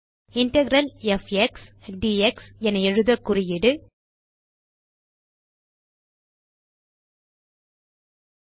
integral of x d x என எழுத குறியீடு 5